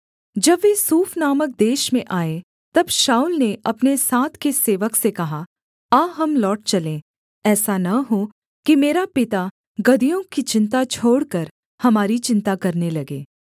जब वे सूफ नामक देश में आए तब शाऊल ने अपने साथ के सेवक से कहा आ हम लौट चलें ऐसा न हो कि मेरा पिता गदहियों की चिन्ता छोड़कर हमारी चिन्ता करने लगे